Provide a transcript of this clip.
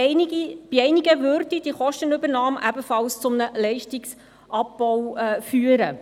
Bei einigen würde diese Kostenübernahme ebenfalls zu einem Leistungsabbau führen.